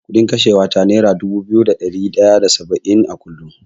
Kuɗin kashewa ta nera dubu biyu da ɗari ɗaya da saba’in a kullum.